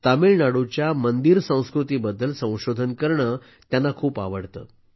तामिळनाडूच्या मंदिर संस्कृती बद्दल संशोधन करणं त्यांना खूप आवडतं